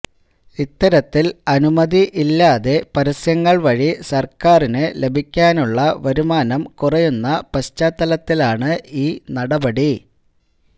ഇത്തരത്തിൽ അനുമതി ഇല്ലാതെ പരസ്യങ്ങൾ വഴി സർക്കാറിനു ലഭിക്കാനുള്ള വരുമാനം കുറയുന്ന പശ്ചാത്തലത്തിലാണ് ഈ നടപടി